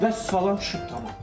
Vəssalam düşüb tamam.